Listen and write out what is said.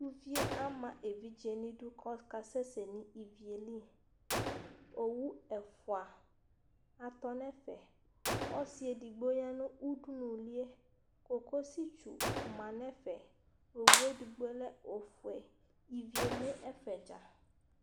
Uvi yɛ ama evidze nʋ idu kʋ ɔkasɛsɛ nʋ ivi yɛ li Owu ɛfʋa atɔ nʋ ɛfɛ Ɔsɩ edigbo ya nʋ udunuli yɛ Kokositsu ma nʋ ɛfɛ Owu yɛ edigbo lɛ ofue Ivi eme ɛfɛ dza